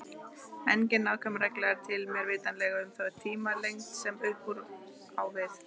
Engin nákvæm regla er til, mér vitanlega, um þá tímalengd sem upp úr á við.